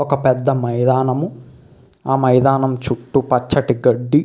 ఒక పెద్ద మైదానము. ఆ మైదానము చుట్టూ పచ్చని గడ్డి.